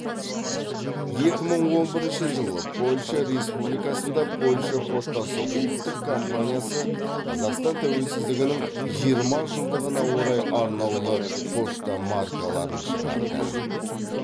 екі мың он бірінші жылы польша республикасында польша поштасы ұлттық компаниясы қазақстан тәуелсіздігінің жиырма жылдығына орай арнаулы пошта маркаларын шығарды